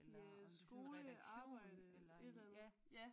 Ja skole arbejde et eller andet